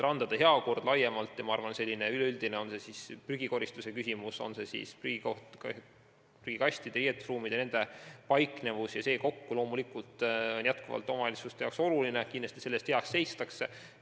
Randade heakord laiemalt – prügikoristus, prügikastide ja riietuskabiinide olemasolu – see kokku loomulikult on omavalitsuste jaoks oluline ja kindlasti selle eest hea seistakse.